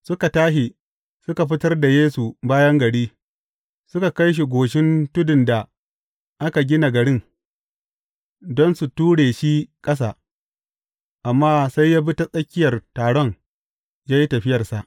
Suka tashi, suka fitar da Yesu bayan gari, suka kai shi goshin tudun da aka gina garin, don su ture shi ƙasa, amma sai ya bi ta tsakiyar taron ya yi tafiyarsa.